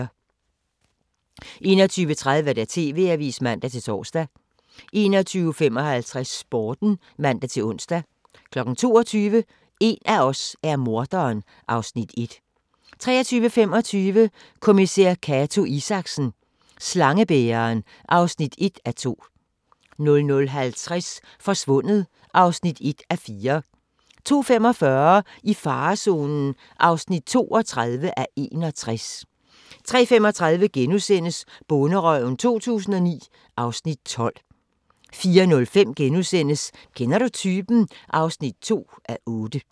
21:30: TV-avisen (man-tor) 21:55: Sporten (man-ons) 22:00: En af os er morderen (Afs. 1) 23:25: Kommissær Cato Isaksen: Slangebæreren (1:2) 00:50: Forsvundet (1:4) 02:45: I farezonen (32:61) 03:35: Bonderøven 2009 (Afs. 12)* 04:05: Kender du typen? (2:8)*